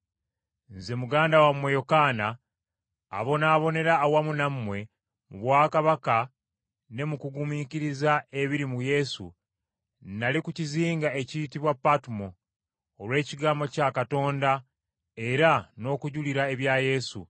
Nze muganda wammwe Yokaana, abonaabonera awamu nammwe mu bwakabaka ne mu kugumiikiriza ebiri mu Yesu, nnali ku kizinga ekiyitibwa Patumo, olw’ekigambo kya Katonda era n’okujulira ebya Yesu.